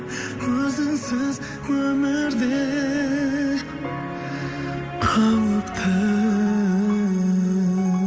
өзіңсіз өмірде қауіпті